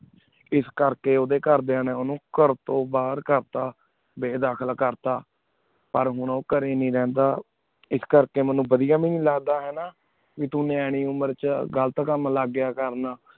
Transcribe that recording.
ਇਸ ਕਰ ਲੀ ਉੜ ਕਰ੍ਡੀਨਾ ਨੀ ਉਨੂ ਕਰ ਤੂੰ ਬਹੇਰ ਕਰਤਾ ਬੇਦਖਲ ਕਰ ਤਾ ਪਰ ਓਹੁਨੁ ਕਰੀ ਹੀ ਨੀ ਰਹੰਦਾ ਇਸ ਕਰ ਕੀ ਮੀਨੁ ਬਦੇਯਾ ਹੀ ਨੀ ਲਗਦਾ ਹਾਨਾ ਤੂੰ ਨਿਆਣੀ ਉਮੇਰ ਚ ਤੂੰ ਬਦੇਯਾ ਕਰਨ ਲਗ ਗਯਾ ਕਾਮ